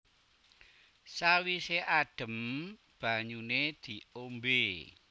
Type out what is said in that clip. Sawise adem banyune diombe